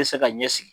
Bɛ se ka ɲɛsigi